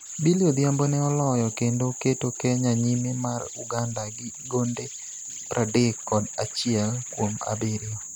Billy Odhiambo ne oloyo kendo keto kenya nyime mar Uganda gi gonde pradek kod achiel kuom abiriyo